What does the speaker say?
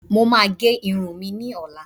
Mo máa gẹ irun mi ní ọ̀la